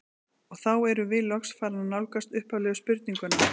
Og þá erum við loks farin að nálgast upphaflegu spurninguna.